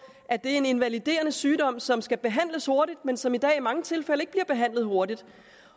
at det er en invaliderende sygdom som skal behandles hurtigt men som i dag i mange tilfælde ikke bliver behandlet hurtigt